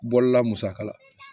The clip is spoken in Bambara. Bɔlila musaka la